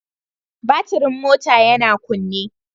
Batirin mota yana kunne